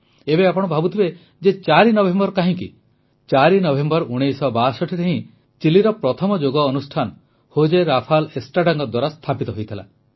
ଏବେ ଆପଣ ଭାବୁଥିବେ ଯେ 4 ନଭେମ୍ବର କାହିଁକି 4 ନଭେମ୍ବର 1962 ରେ ହିଁ ଚିଲିର ପ୍ରଥମ ଯୋଗ ଅନୁଷ୍ଠାନ ହୋଜେ ରାଫାଲ୍ ଏଷ୍ଟ୍ରାଡାଙ୍କ ଦ୍ୱାରା ସ୍ଥାପିତ ହୋଇଥିଲା